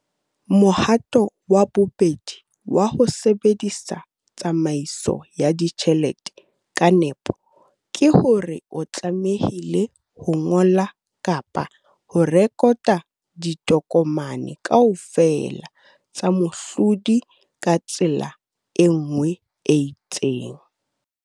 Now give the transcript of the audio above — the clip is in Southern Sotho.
Mohato wa bobedi wa ho sebedisa tsamaiso ya ditjhelete ka nepo ke hore o tlamehile ho ngola kapa ho rekota ditokomane kaofela tsa mohlodi ka tsela e nngwe e itseng.